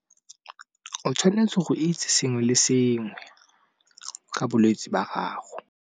O tshwanetse go itse sengwe le sengwe, ka bolwetsi ba gago.